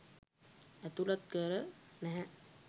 අතුලත් කර නැහැ.